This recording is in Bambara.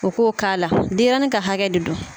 U k'o k'a la denɲɛrɛnin ka hakɛ de don.